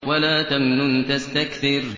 وَلَا تَمْنُن تَسْتَكْثِرُ